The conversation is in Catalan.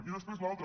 i després l’altre